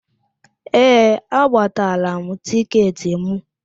Ee, agbatala m tịketị mụ